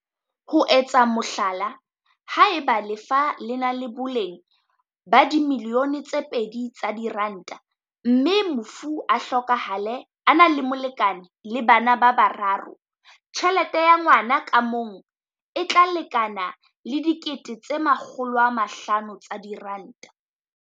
Ho etsa mohlala, haeba lefa le na le boleng ba R2 milione mme mofu a hlokahala a na le molekane le bana ba bararo, tjhelete ya ngwa na ka mong e tla lekana le R500 000.